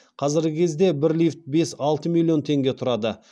қазіргі кезде бір лифт бес алты миллион теңге тұрады